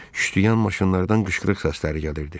Şüştüyən maşınlardan qışqırıq səsləri gəlirdi.